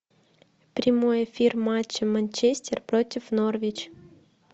прямой эфир матча манчестер против норвич